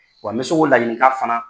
Wa n bɛ se k'o ladilikan fana